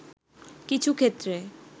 কিছু ক্ষেত্রে